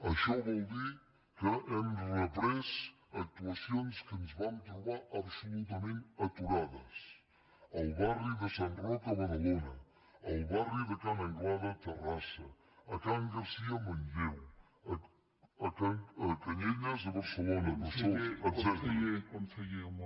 això vol dir que hem reprès actuacions que ens vam trobar absolutament aturades al barri de sant roc a badalona al barri de ca n’anglada a terrassa a can garcia a manlleu a canyelles a barcelona etcètera